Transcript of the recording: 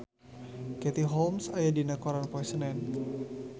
Katie Holmes aya dina koran poe Senen